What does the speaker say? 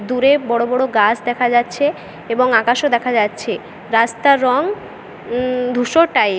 দূরে বড় বড় গাছ দেখা যাচ্ছে এবং আকাশও দেখা যাচ্ছে। রাস্তার রং উম ধূসর টাইপ